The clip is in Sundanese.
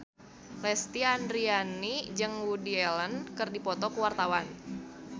Lesti Andryani jeung Woody Allen keur dipoto ku wartawan